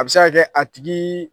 A bɛ se k'a kɛ a tigi